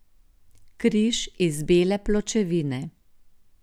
Križ iz bele pločevine.